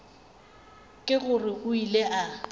ke gore o ile a